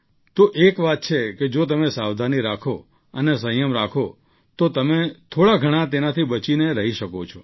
તો એક વાત છે કે જો તમે સાવધાની રાખો અને સંયમ રાખો તો તમે થોડા ઘણા તેનાથી બચીને રહી શકો છો